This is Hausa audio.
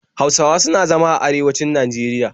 Hausawa suna zama a arewanci Najeriya